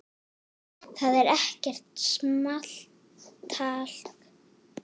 Það er ekkert small talk.